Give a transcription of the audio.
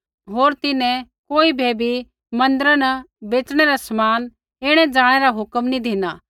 होर तिन्हैं कोई बै बी मन्दिरा न बेच़णै रा समान ऐणैजाणै रा हुक्म नी धिना